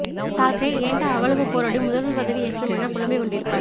தாக்ரே ஏண்டா அவ்வளவு போராடி முதல்வர் பதவி ஏற்றோம் என புலம்பி கொண்டிருப்பார்